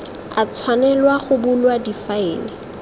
a tshwanelwa go bulwa difaele